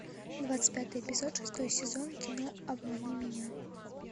двадцать пятый эпизод шестой сезон кино обмани меня